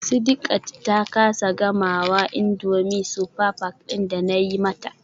Sidiqat ta kasa gamawa indomie super pack din da nayi mata.